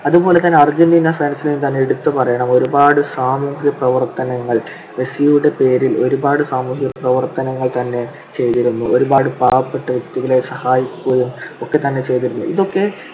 അതുപോലെതന്നെ Argentina fans നെതന്നെ എടുത്തുപറയണം. ഒരുപാട് സാമൂഹിക പ്രവർത്തനങ്ങൾ, മെസ്സിയുടെ പേരിൽ ഒരുപാട് സാമൂഹിക പ്രവർത്തനങ്ങൾ തന്നെ ചെയ്‌തിരുന്നു. ഒരുപാട് പാവപ്പെട്ട വ്യക്തികളെ സഹായിക്കുകയുമൊക്കെ തന്നെ ചെയ്‌തിരുന്നു. ഇതൊക്കെ